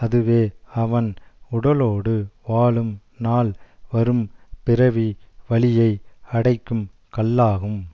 அதுவே அவன் உடலோடு வாழும் நாள் வரும் பிறவி வழியை அடைக்கும் கல்லாகும்